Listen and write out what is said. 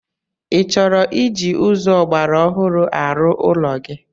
Ị chọrọ iji ụzọ ọgbaraọhụrụ arụ ụlọ gi?